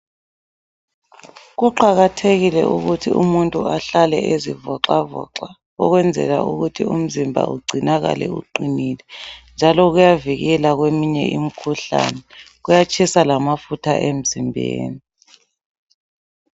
Kuqakathekile ukuthi umuntu ahlale ezivoxavoxa ukwenzela ukuthi umzimba ugcinakale uqinile. Njalo kuyavikela kweminye imkhuhlane. Kuyatshisa lamafutha emzimbeni.